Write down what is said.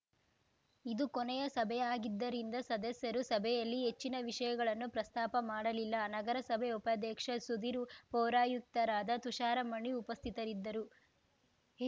ಇದು ಕೊನೆಯ ಸಭೆಯಾಗಿದ್ದರಿಂದ ಸದಸ್ಯರು ಸಭೆಯಲ್ಲಿ ಹೆಚ್ಚಿನ ವಿಷಯಗಳನ್ನು ಪ್ರಸ್ತಾಪ ಮಾಡಲಿಲ್ಲ ನಗರಸಭೆ ಉಪಾಧ್ಯಕ್ಷ ಸುಧೀರ್‌ ಪೌರಾಯುಕ್ತರಾದ ತುಷಾರಮಣಿ ಉಪಸ್ಥಿತರಿದ್ದರುಹೇ